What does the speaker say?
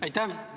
Aitäh!